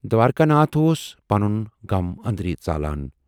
دوارِکا ناتھ اوس پَنُن غم ٲندرۍ ژالان۔